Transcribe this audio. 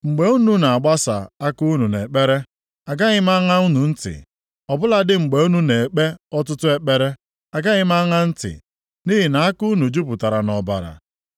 Mgbe unu na-agbasa aka unu nʼekpere, agaghị m aṅa unu ntị; ọ bụladị mgbe unu na-ekpe ọtụtụ ekpere, agaghị m aṅa ntị.” Nʼihi na aka unu jupụtara nʼọbara!